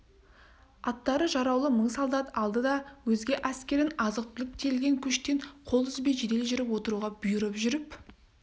аттары жараулы мың солдат алды да өзге әскерін азық-түлік тиелген көштен қол үзбей жедел жүріп отыруға бұйырып жүріп